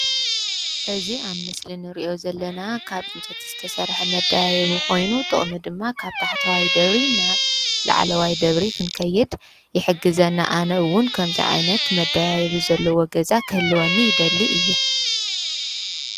እዚ ኣብ ምስሊ እንሪኦ ዘለና ካብ ዕንፀይቲ ዝተሰርሐ መደያይቦ ኮይኑ ጥቕሙ ድማ ካብ ታሕተዋይ ደብሪ ናብ ላዕለዋይ ደብሪ ክንከይድ ይሕግዘና ኣነ ውነ ከምዚ ዓይነት መደያይቦ ዘለዎ ገዛ ክህልወኒ ይደሊ እየ።